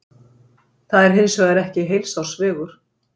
Það er hins vegar ekki heilsársvegur.